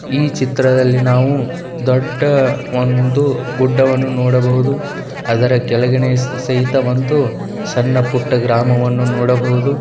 ಈ ಚಿತ್ರದಲ್ಲಿ ನಾವು ದೊಡ್ಡ ಒಂದು ಗುಡ್ಡವನ್ನು ನೋಡಬಹುದು. ಅದರ ಕೆಳಗಡೆ ಸಹಿತ ಒಂದು ಸಣ್ಣ ಪುಟ್ಟ ಗ್ರಾಮವನ್ನು ನೋಡಬಹುದು.